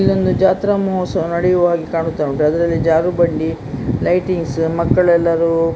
ಇಲ್ಲೊಂದು ಜಾತ್ರಾ ಮಹೋತ್ಸವ ನೆಡಿಯುವ ಹಾಗೆ ಕಾಣಿಸ್ತಾ ಉಂಟು ಅದರಲ್ಲಿ ಜಾರುಬಂಡಿ ಲೈಟಿಂಗ್ಸ್ ಮಕ್ಕಳು ಎಲ್ಲರೂ --